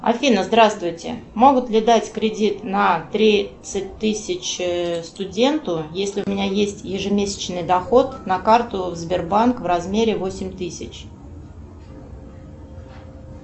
афина здравствуйте могут ли дать кредит на тридцать тысяч студенту если у меня есть ежемесячный доход на карту сбербанк в размере восемь тысяч